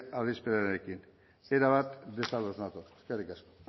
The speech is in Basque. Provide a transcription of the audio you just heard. adierazpenarekin erabat desados nator eskerrik asko